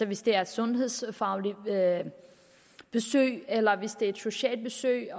hvis det er et sundhedsfagligt besøg eller hvis det er et socialt besøg